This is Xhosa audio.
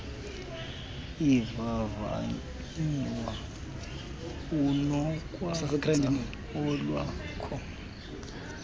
ivavanyiwe unokwenza olwakho